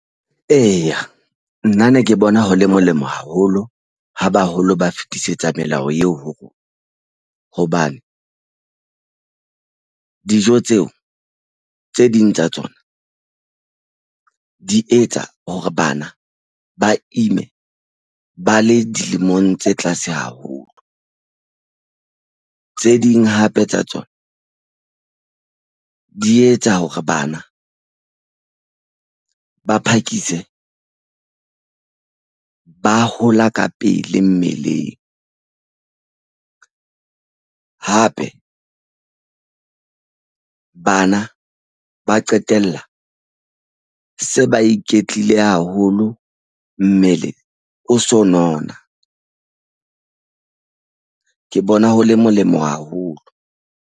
Eya, nna ne ke bona ho le molemo haholo ha baholo, ba fetisetsa melao eo ho rona. Hobane dijo tseo tse ding tsa tsona di etsa hore bana ba ime ba le dilemong tse tlase haholo. Tse ding hape tsa tsona di etsa hore bana ba phakise ba hola ka pele mmeleng. Hape bana ba qetella se ba iketlile haholo. Mmele o so nona. Ke bona ho le molemo haholo.